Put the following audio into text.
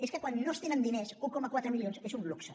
és que quan no es tenen diners un coma quatre milions és un luxe